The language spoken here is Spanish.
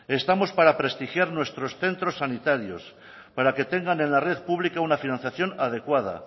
estamos para prestigiar nuestros centros sanitarios para que tengan en la red pública una financiación adecuada